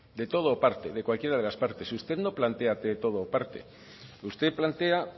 de todo o parte de cualquiera de las partes usted no plantea de todo o parte usted plantea